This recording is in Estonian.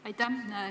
Aitäh!